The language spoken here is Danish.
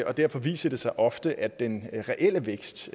og derfor viser det sig ofte at den reelle vækst